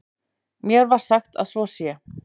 Mér er sagt að svo sé.